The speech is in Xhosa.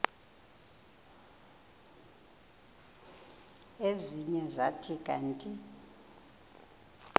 ezinye zathi kanti